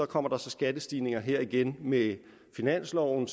kommer der skattestigninger her igen med finansloven